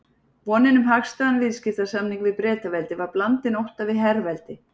Vonin um hagstæðan viðskiptasamning við Bretaveldi var blandin ótta við herveldi